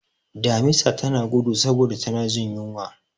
Damisa tana gudu saboda tana jin yunwa.